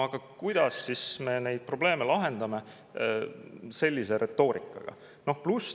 Aga kuidas siis me neid probleeme lahendame sellise retoorikaga?